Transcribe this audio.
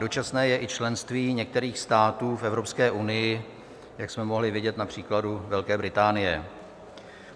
Dočasné je i členství některých států v Evropské unii, jak jsme mohli vidět na příkladu Velké Británie.